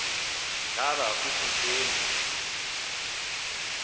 ngaba kukho ntoni